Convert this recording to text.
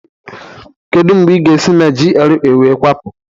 Kedu mgbe ị ga-esi na GRA wee kwapụ?